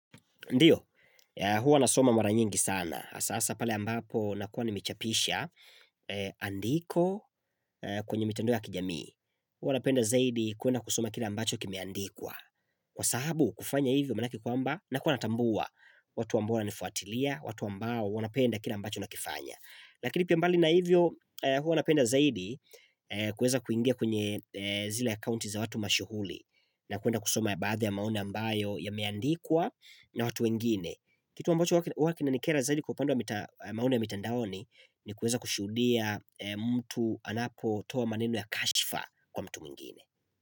Ndiyo, huwa nasoma mara nyingi sana, hasa hasa pale ambapo nakuwa nimechapisha, andiko kwenye mitandao ya kijamii. Huwa napenda zaidi kwenda kusoma kile ambacho kimeandikwa. Kwa sababu kufanya hivyo maanake kwamba, nakuwa natambua. Watu ambao wanifuatilia, watu ambao wanapenda kile ambacho nakifanya. Lakini pia mbali na hivyo huwa napenda zaidi kuweza kuingia kwenye zile account za watu mashuhuri. Na kuenda kusoma baadhi ya maoni ambayo yameandikwa na watu wengine, Kitu ambacho huwa kinanikera zaidi kwa upande wa maoni ya mitandaoni, ni kuweza kushuhudia mtu anapotoa maneno ya kashifa kwa mtu mwingine.